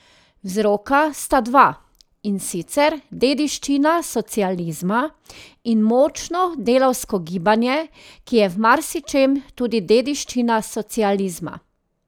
Vzroka sta dva, in sicer dediščina socializma in močno delavsko gibanje, ki je v marsičem tudi dediščina socializma.